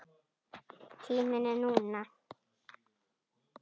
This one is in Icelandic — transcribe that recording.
Tíminn er núna.